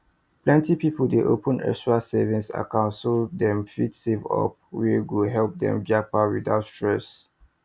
plenty people dey open extra savings account so dem fit save up money wey go help dem japa without stress